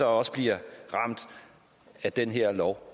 også bliver ramt af den her lov